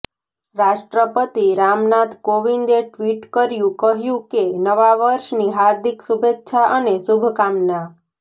રાષ્ટ્રપતિ રામનાથ કોવિંદે ટ્વિટ કર્યું કહ્યું કે નવા વર્ષની હાર્દિક શુભેચ્છા અને શુમભકામના